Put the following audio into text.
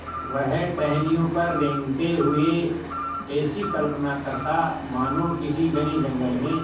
वह टहनियों पर रेंगते हुए ऐसी कल्पना करता मानो किसी घने जंगल में